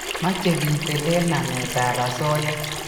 mache ketelel namet ab asoya